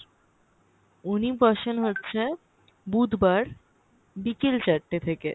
উনি বসেন হচ্ছে বুধবার বিকেল চারটে থেকে